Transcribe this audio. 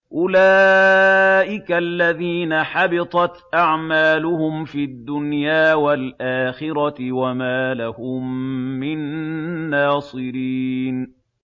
أُولَٰئِكَ الَّذِينَ حَبِطَتْ أَعْمَالُهُمْ فِي الدُّنْيَا وَالْآخِرَةِ وَمَا لَهُم مِّن نَّاصِرِينَ